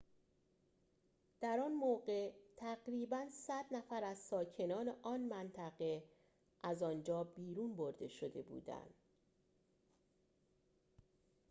در آن موقع تقریباً ۱۰۰ نفر از ساکنان آن منطقه از آنجا بیرون برده شده بودند